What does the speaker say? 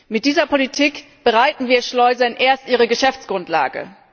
Mit dieser Politik bereiten wir Schleusern erst ihre Geschäftsgrundlage.